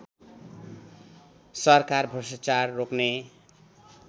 सरकार भ्रष्टाचार रोक्ने